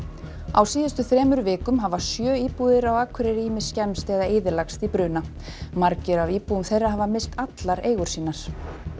á síðustu þremur vikum hafa sjö íbúðir á Akureyri ýmist skemmst eða eyðilagst í bruna margir af íbúum þeirra hafa misst allar eigur sínar